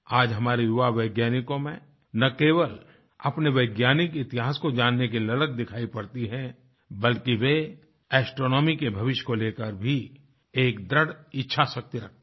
आज हमारे युवा वैज्ञानिकों में न केवल अपने वैज्ञानिक इतिहास को जानने की ललक दिखाई पड़ती है बल्कि वेएस्ट्रोनॉमी के भविष्य को लेकर भी एक दृढ़ इच्छाशक्ति रखते हैं